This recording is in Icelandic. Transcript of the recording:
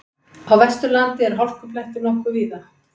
Á Vesturlandi eru hálkublettir nokkuð víða